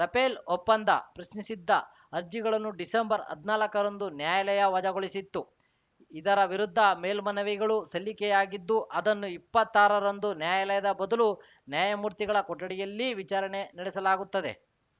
Rafale ಒಪ್ಪಂದ ಪ್ರಶ್ನಿಸಿದ್ದ ಅರ್ಜಿಗಳನ್ನು ಡಿಸಂಬರ್ಹದ್ನಾಲ್ಕರಂದು ನ್ಯಾಯಾಲಯ ವಜಾಗೊಳಿಸಿತ್ತು ಇದರ ವಿರುದ್ಧ ಮೇಲ್ಮನವಿಗಳು ಸಲ್ಲಿಕೆಯಾಗಿದ್ದು ಅದನ್ನು ಇಪ್ಪತ್ತಾರರಂದು ನ್ಯಾಯಾಲಯದ ಬದಲು ನ್ಯಾಯಮೂರ್ತಿಗಳ ಕೊಠಡಿಯಲ್ಲಿ ವಿಚಾರಣೆ ನಡೆಸಲಾಗುತ್ತದೆ